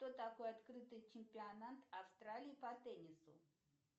что такое открытый чемпионат австралии по теннису